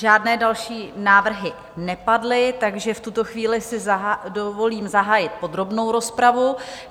Žádné další návrhy nepadly, takže v tuto chvíli si dovolím zahájit podrobnou rozpravu.